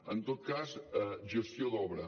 en tot cas gestió d’obra